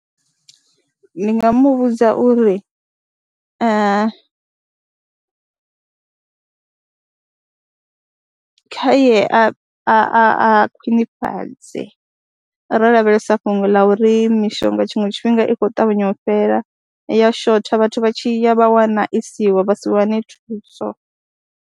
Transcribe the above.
Ndi nga mu vhudza uri kha ye a a khwinifhadze, ro lavhelesa fhungo ḽa uri mishonga tshiṅwe tshifhinga i khou ṱavhanya u fhela, i ya shotha vhathu vha tshi ya vha wana i siho vha si wane thuso.